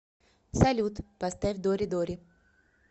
салют поставь доридори